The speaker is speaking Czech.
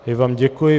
Já vám děkuji.